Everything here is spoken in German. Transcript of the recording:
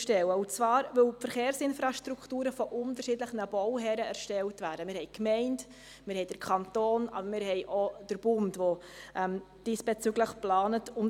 Und zwar, weil die Verkehrsinfrastrukturen von unterschiedlichen Bauherren erstellt werden, also von der Gemeinde, vom Kanton und auch vom Bund.